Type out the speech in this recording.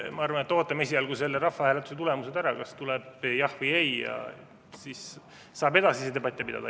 Ma arvan, et ootame esialgu selle rahvahääletuse tulemuse ära, kas tuleb jah või ei, siis saab edasisi debatte pidada.